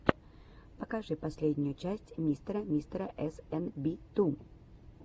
покажи последнюю часть мистера мистера эс эн би ту